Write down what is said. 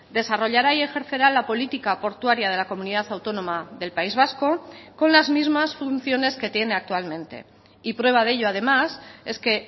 desarrollará y ejercerá la política portuaria de la comunidad autónoma del país vasco con las mismas funciones que tiene actualmente y prueba de ello además es que